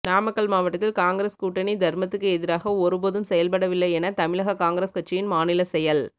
நாமக்கல் மாவட்டத்தில் காங்கிரஸ் கூட்டணி தா்மத்துக்கு எதிராக ஒருபோதும் செயல்படவில்லை என தமிழக காங்கிரஸ் கட்சியின் மாநில செயல்